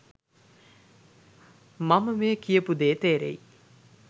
මම මේ කියපු දේ තේරෙයි.